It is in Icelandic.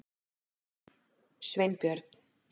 Sveinbjörn